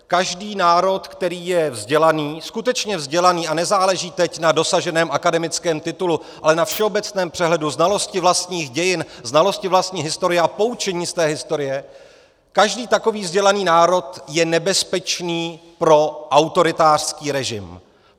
Každý národ, který je vzdělaný, skutečně vzdělaný, a nezáleží teď na dosaženém akademickém titulu, ale na všeobecném přehledu znalosti vlastních dějin, znalosti vlastní historie a poučení z té historie, každý takový vzdělaný národ je nebezpečný pro autoritářský režim.